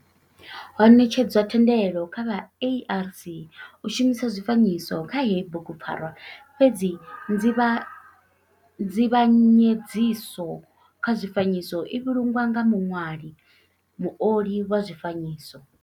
Ho netshedzwa thendelo kha vha ARC u shumisa zwifanyiso kha heyi bugupfarwa fhedzi nzivha nzivhanyedziso kha zwifanyiso i vhulungwa nga muṅwali muoli wa zwifanyiso.